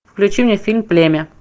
включи мне фильм племя